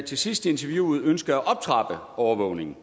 til sidst i interviewet ønskede at optrappe overvågningen